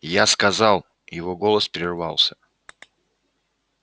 я сказал его голос прервался